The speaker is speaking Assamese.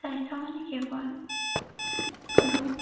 স্বাস্থ্য মানে কেৱল ৰোগ